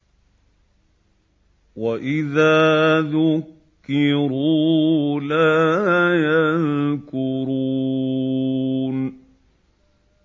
وَإِذَا ذُكِّرُوا لَا يَذْكُرُونَ